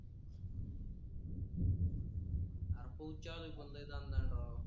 आरं पाऊस चालू आहे पण राव.